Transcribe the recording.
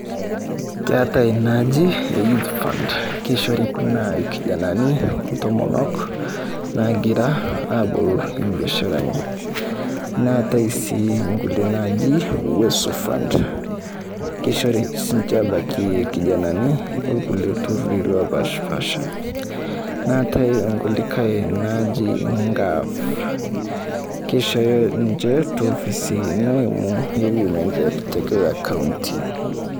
Keetae inaaji Youth fund keishori naaji irkijanani ontomok naagira aabol ibiasharani neetae sii inkulie naaji Uwezo fund keishori sininche ebaiki irkijanani orkulie turrurri loopaasha paasha, naatae inkulikae naaji Ngaaf keishoori ninche toonkopisini naiimu women representative te kila kaunti.